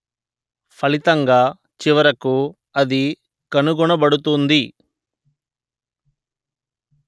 ఫలితంగా చివరకు అది కనుగొనబడుతుంది